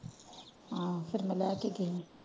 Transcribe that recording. ਹਾਂ ਫੇਰ ਮੈਂ ਲਾਇ ਕੇ ਗਯੀ।